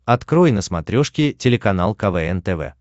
открой на смотрешке телеканал квн тв